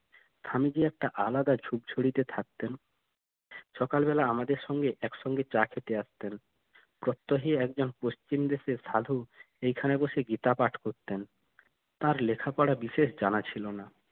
স্বামীজি একটা আলাদা ঝুপঝুড়ি তে থাকতেন সকালবেলা আমাদের সঙ্গে এক সঙ্গে চা খেতে আসতেন প্রত্যহী একজন পশ্চিম দেশের সাধু এইখানে বসে গীতা পাঠ করতেন তার লেখাপড়া বিশেষ জানা ছিল না